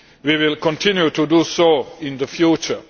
We will continue to do so in the future.